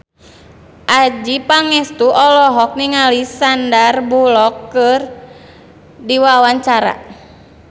Adjie Pangestu olohok ningali Sandar Bullock keur diwawancara